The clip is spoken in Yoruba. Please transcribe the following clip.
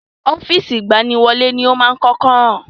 Ọ́fíìsì agbaniwọlẹ́ ni a máa kọ́kọ́ kàn